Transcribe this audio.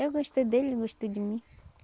Eu gostei dele, ele gostou de mim.